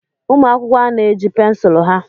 Ụmụ akwụkwọ a na-eji pensụl ha?